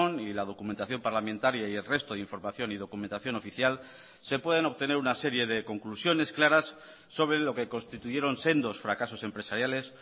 y la documentación parlamentaria y el resto de información y documentación oficial se pueden obtener una serie de conclusiones claras sobre lo que constituyeron sendos fracasos empresariales